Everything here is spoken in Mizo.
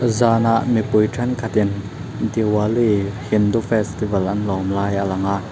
zanah mipui thenkhatin diwali hindu festival an lawm lai a lang a.